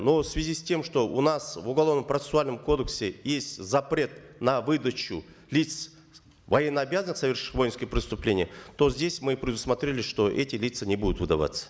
но в связи с тем что у нас в уголовно процессуальном кодексе есть запрет на выдачу лиц военнообязанных совершивших воинские преступления то здесь мы предусмотрели что эти лица не будут выдаваться